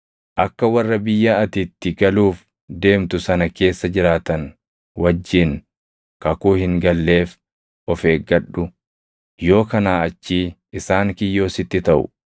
Akka warra biyya ati itti galuuf deemtu sana keessa jiraatan wajjin kakuu hin galleef of eeggadhu; yoo kanaa achii isaan kiyyoo sitti taʼu.